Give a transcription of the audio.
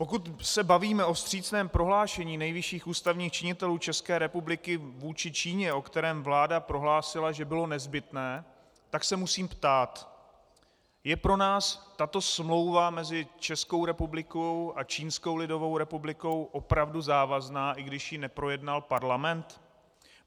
Pokud se bavíme o vstřícném prohlášení nejvyšších ústavních činitelů České republiky vůči Číně, o kterém vláda prohlásila, že bylo nezbytné, tak se musím ptát: Je pro nás tato smlouva mezi Českou republikou a Čínskou lidovou republikou opravdu závazná, i když ji neprojednal Parlament?